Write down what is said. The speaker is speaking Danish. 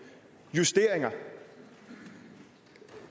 eller